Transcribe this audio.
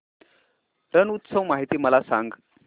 रण उत्सव माहिती मला सांग